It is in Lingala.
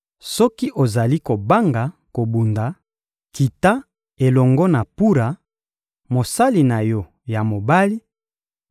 Soki ozali kobanga kobunda, kita elongo na Pura, mosali na yo ya mobali,